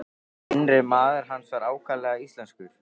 Innri maður hans var ákaflega íslenskur.